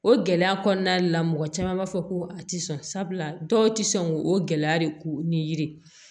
O gɛlɛya kɔnɔna de la mɔgɔ caman b'a fɔ ko a ti sɔn sabula dɔw tɛ sɔn k'o gɛlɛya de k'u ni yiri